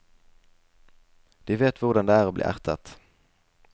De vet hvordan det er å bli ertet.